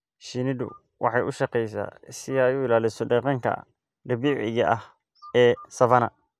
Shinnidu waxay u shaqeysaa si ay u ilaaliso deegaanka dabiiciga ah ee savanna.